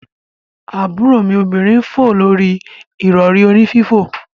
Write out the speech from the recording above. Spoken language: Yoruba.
Aburo mi obinrin n fo lori irori oni fifo.